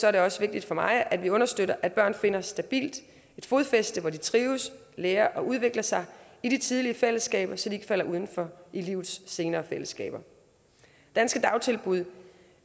er det også vigtigt for mig at vi understøtter at børn finder et stabilt fodfæste hvor de trives lærer og udvikler sig i de tidlige fællesskaber så de ikke falder udenfor i livets senere fællesskaber danske dagtilbud